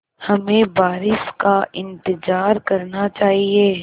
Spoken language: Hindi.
हमें बारिश का इंतज़ार करना चाहिए